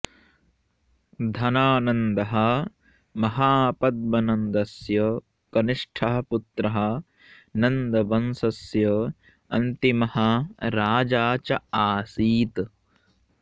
धननन्दः महापद्मनन्दस्य कनिष्ठः पुत्रः नन्दवंशस्य अन्तिमः राजा च आसीत्